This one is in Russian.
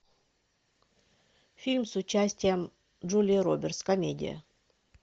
фильм с участием джулии робертс комедия